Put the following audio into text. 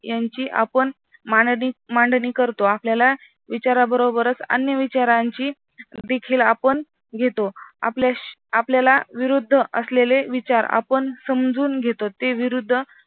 याची आपण मांडणी करतो. आपल्याला विचारांबरोबरच अन्य विचारांची दखल आपण घेतो आपल्याला विरुद्ध असलेले विचार आपण समजून घेतो ते विरुद्ध